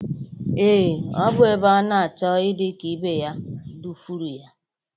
Ee, ọ bụ ebe ọ na-achọ idị ka ibe ya dufuru ya.